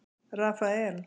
Rafael